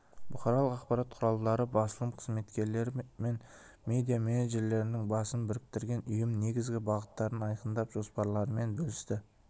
бұқаралық ақпарат құралдары басылым қызметкерлері мен медиа менеджерлердің басын біріктірген ұйым негізгі бағыттарын айқындап жоспарларымен бөлісті